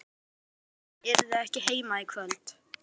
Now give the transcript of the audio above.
Tóta að hann yrði ekki heima í kvöld.